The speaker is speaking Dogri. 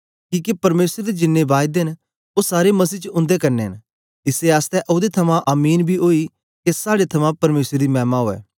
किके परमेसर दे जिन्नें बायदे न ओ सारे मसीह च ओंदे कन्ने न इसै आसतै ओदे थमां आमीन बी ओई के साड़े थमां परमेसर दी मैमा उवै